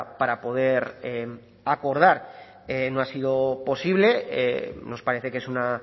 para poder acordar no ha sido posible nos parece que es una